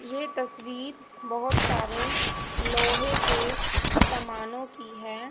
ये तस्वीर बहोत सारे लोहे के सामानों की है।